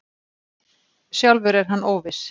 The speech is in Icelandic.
Sjálfur er hann óviss.